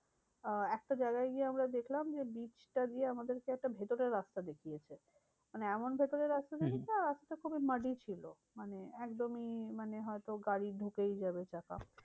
আহ একটা জায়গায় গিয়ে আমরা দেখলাম যে beach টা দিয়ে আমাদেরকে একটা ভেতরের রাস্তা দেখিয়েছে। মানে এমন ভেতরের রাস্তা হম রাস্তা খুবই muddy ছিল। মানে একদমই মানে হয়তো গাড়ি ঢুকেই যাব চাকা